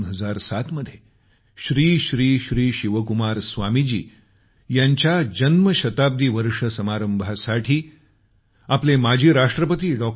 2007 मध्ये श्री श्री श्री शिवकुमार स्वामीजी यांच्या जन्मशताब्दी वर्ष समारंभासाठी आपले माजी राष्ट्रपती डॉ